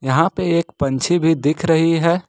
यहां पे एक पंछी भी दिख रही है।